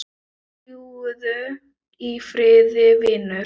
Fljúgðu í friði vinur.